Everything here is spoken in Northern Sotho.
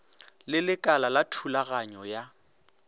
le lekala la thulaganyo ya